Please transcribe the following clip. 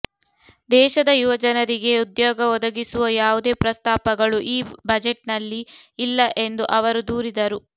ದೇಶದ ಯುವಜನರಿಗೆ ಉದ್ಯೋಗ ಒದಗಿಸುವ ಯಾವುದೇ ಪ್ರಸ್ತಾಪಗಳು ಈ ಬಜೆಟ್ನಲ್ಲಿ ಇಲ್ಲ ಎಂದು ಅವರು ದೂರಿದರು